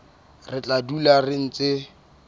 re tla dula re ntse